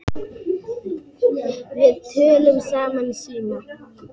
Við töluðum saman í síma.